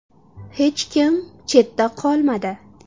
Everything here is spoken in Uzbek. Hech kim chetda qolmadi.